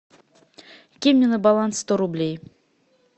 кинь мне на баланс сто рублей